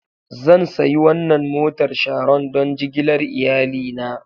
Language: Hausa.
Zan sayi wannan motar Sharon don jigilar iyalina.